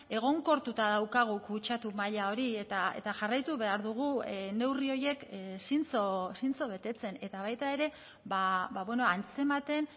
egonkortuta daukagu kutsatu maila hori eta jarraitu behar dugu neurri horiek zintzo betetzen eta baita ere antzematen